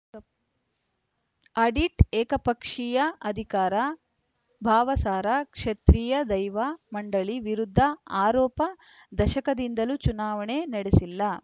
ಅಡಿಟ್‌ ಏಕಪಕ್ಷೀಯ ಅಧಿಕಾರ ಭಾವಸಾರ ಕ್ಷತ್ರೀಯ ದೈವ ಮಂಡಳಿ ವಿರುದ್ಧ ಆರೋಪ ದಶಕದಿಂದಲೂ ಚುನಾವಣೆಯೇ ನಡೆಸಿಲ್ಲ